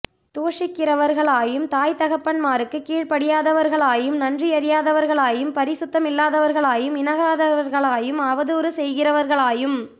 தூஷிக்கிறவர்களாயும் தாய் தகப்பன்மாருக்கு கீழ்ப்படியாதவர்களாயும் நன்றியறியாதவர்களாயும் பரிசுத்தமில்லாதவர்களாயும் இணங்காதவர்களாயும் அவதூறு செய்கிறவர்களாயும்